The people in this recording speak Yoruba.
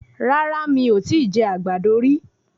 Rárá, mi ò tíì jẹ àgbàdo rí.